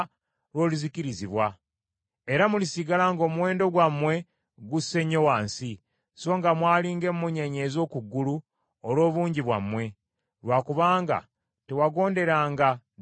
Era mulisigala ng’omuwendo gwammwe gusse nnyo wansi, songa mwali ng’emmunyeenye ez’oku ggulu olw’obungi bwammwe; lwa kubanga tewagonderanga ddoboozi lya Mukama Katonda wo.